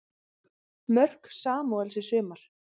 Mörk Samúels í sumar